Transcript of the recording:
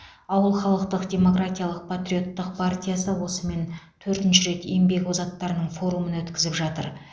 ауыл халықтық демократиялық патриоттық партиясы осымен төртінші рет еңбек озаттарының форумын өткізіп жатыр